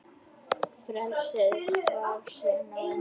Frelsið var senn á enda.